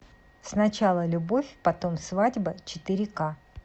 сначала любовь потом свадьба четыре к